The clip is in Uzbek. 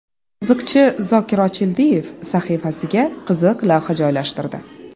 Qiziqchi Zokir Ochildiyev sahifasiga qiziq lavha joylashtirdi.